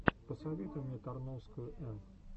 посоветуй мне тарновскую эн